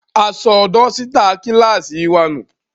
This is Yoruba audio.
A sọ dọ́sítà kíláàsì wa nù.